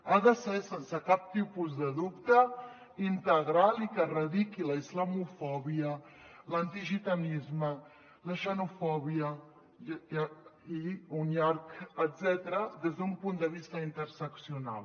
ha de ser sense cap tipus de dubte integral i que erradiqui la islamofòbia l’antigitanisme la xenofòbia i un llarg etcètera des d’un punt de vista interseccional